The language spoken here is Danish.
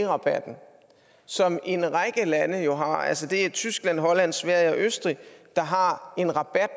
rabatten som en række lande jo har altså det er tyskland holland sverige og østrig der har en rabat